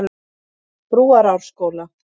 Brúarásskóla